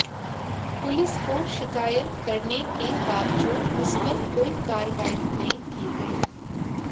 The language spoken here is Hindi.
पुलिस को शिकायत करने के बावजूद उस पर कोई कार्रवाई नहीं की गई